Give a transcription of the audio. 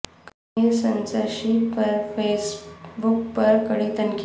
Kashmir censorship پر Facebook پر کڑی تنقید